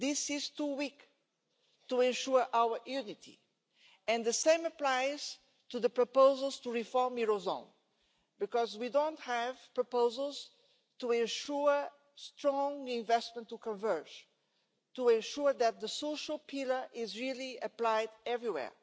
This is too weak to ensure our unity. The same applies to the proposals to reform the eurozone, because we don't have proposals to ensure strong investment to converge, to ensure that the social pillar is really applied everywhere.